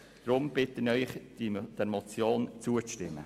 Deshalb bitte ich Sie, dieser Motion zuzustimmen.